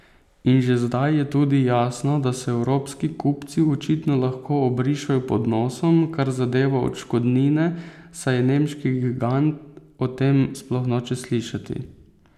In že zdaj je tudi jasno, da se evropski kupci očitno lahko obrišejo pod nosom, kar zadeva odškodnine, saj nemški gigant o tem sploh noče slišati.